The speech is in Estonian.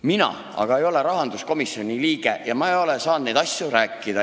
Mina aga ei ole rahanduskomisjoni liige ega ole saanud nendest asjadest rääkida.